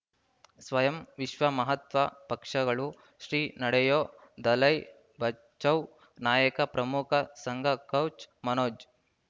ಸ್ವಯಂ ವಿಶ್ವ ಮಹಾತ್ವ ಪಕ್ಷಗಳು ಶ್ರೀ ನಡೆಯೂ ದಲೈ ಬಚೌ ನಾಯಕ ಪ್ರಮುಖ ಸಂಘ ಕೌಚ್ ಮನೋಜ್